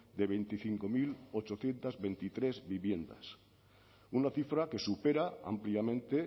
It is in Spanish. de veinticinco mil ochocientos veintitrés viviendas una cifra que supera ampliamente